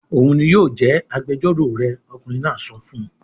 "Òun ni yóò jẹ́ agbẹjọ́rò rẹ!" Ọkùnrin náà sọ fún un.